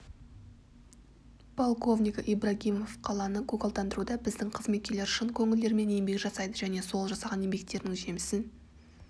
полковнигі ибрагимов қаланы көгалдандыруда біздің қызметкерлер шын көңілдерімен еңбек жасайды және сол жасаған еңбектерінің жемісін